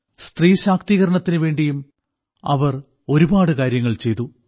സ്ത്രീശാക്തീകരണത്തിനുവേണ്ടിയും അവർ ഒരുപാട് കാര്യങ്ങൾ ചെയ്തു